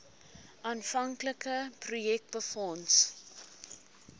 aanvanklike projek befonds